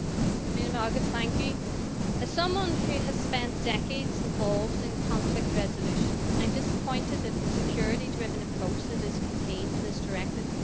Mr President, as someone who has spent decades involved in conflict resolution, I am disappointed at the security driven approach that is contained in this directive.